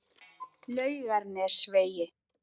Laugarnesvegi